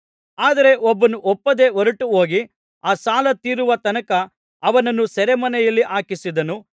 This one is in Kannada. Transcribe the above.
ಆದರೆ ಅವನು ಒಪ್ಪದೆ ಹೊರಟುಹೋಗಿ ಆ ಸಾಲ ತೀರಿಸುವ ತನಕ ಅವನನ್ನು ಸೆರೆಮನೆಯಲ್ಲಿ ಹಾಕಿಸಿದನು